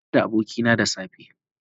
Nayi hira da abokina da safe.